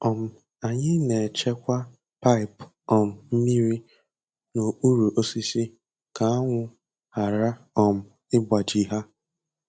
um Anyị na-echekwa paịp um mmiri n’okpuru osisi ka anwụ ghara um ịgbaji ha.